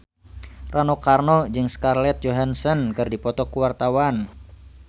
Rano Karno jeung Scarlett Johansson keur dipoto ku wartawan